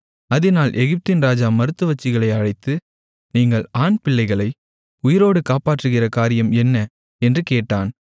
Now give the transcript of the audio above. அதினால் எகிப்தின் ராஜா மருத்துவச்சிகளை அழைத்து நீங்கள் ஆண்பிள்ளைகளை உயிரோடு காப்பாற்றுகிற காரியம் என்ன என்று கேட்டான்